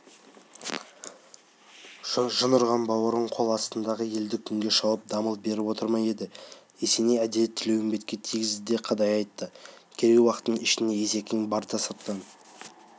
жын ұрған бауырың қол астындағы елді күнде шауып дамыл беріп отыр ма деді есеней әдейі тілеуімбетке тигізе де қадай айтты керей-уақтың ішінде есекең барда сырттан